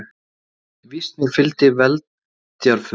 Víst mér fylgdi veldjarfur